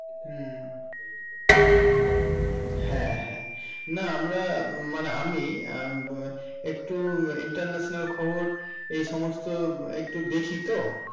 কিন্তু একটা ধারণে তৈরী করছি আর কিছুই না. হ্যাঁ হ্যাঁ। না আমরা মানে আমি হমম একটু international খবর এই সমস্ত একটু দেখি তো।